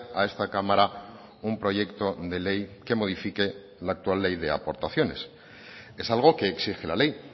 a esta cámara un proyecto de ley que modifique la actual ley de aportaciones es algo que exige la ley